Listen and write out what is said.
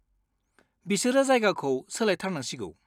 बिसोरो जायगाखौ सोलायथारनांसिगौ।